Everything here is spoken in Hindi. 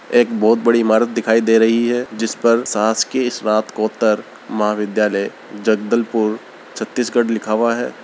एक बहुत बड़ी इमारत दिखाई दे रही है जिस पर शासकीय स्नातकोत्तर महाविधालय जगदलपुर छतीशगढ लिखा हुआ है।